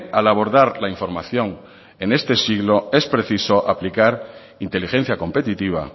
al abordar la información en este siglo es preciso aplicar inteligencia competitiva